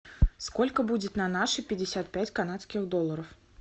сколько будет на наши пятьдесят пять канадских долларов